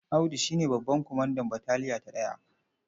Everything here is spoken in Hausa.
Audu shi ne babban kwamandan bataliya ta ɗaya.